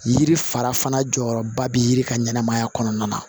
Yiri fara fana jɔyɔrɔba bɛ yiri ka ɲɛnɛmaya kɔnɔna na